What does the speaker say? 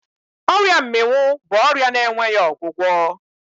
Ọria mmịnwụ bụ ọrịa na-enweghị ọgwụgwọ.